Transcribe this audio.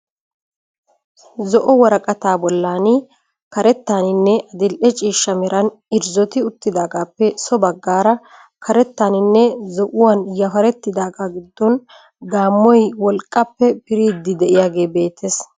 Zo'o woraqataa bollaani karettaaninne adil'e ciishsha meran irzoti uttidaagaappe so baggaara karettaaninne zo'uwan yaparettidaagaa giddon haammoy wolqqappe piriiddi diyagee beettes.